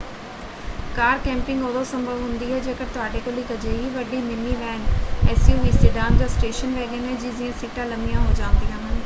ਕਾਰ camping ਉਦੋਂ ਸੰਭਵ ਹੁੰਦੀ ਹੈ ਜੇਕਰ ਤੁਹਾਡੇ ਕੋਲ ਇੱਕ ਅਜਿਹੀ ਵੱਡੀ ਮਿਨੀਵੈਨ ਐਸਯੂਵੀ ਸਿਡਾਨ ਜਾਂ ਸਟੇਸ਼ਨ ਵੈਗਨ ਹੈ ਜਿਸ ਦੀਆਂ ਸੀਟਾਂ ਲੰਮੀਆਂ ਹੋ ਜਾਂਦੀਆਂ ਹਨ।